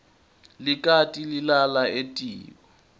likati lilala etiko